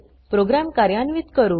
programme कार्यान्वित करू